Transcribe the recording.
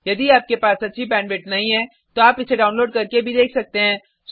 यदि आपके पास अच्छी बैंडविड्थ नहीं है तो आप इसे डाउनलोड करके भी देख सकते हैं